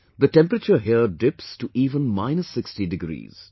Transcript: The temperature here dips to even minus 60 degrees